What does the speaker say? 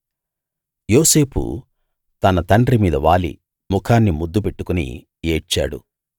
యోసేపు తన తండ్రి మీద వాలి ముఖాన్ని ముద్దు పెట్టుకుని ఏడ్చాడు